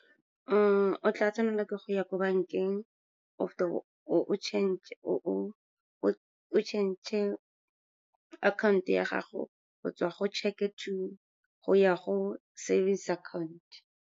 O tla tshwanela ke go ya ko bankeng, o fete o change-e account ya gago go tswa go check-e go ya go savings account.